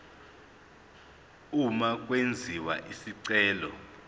uma kwenziwa isicelo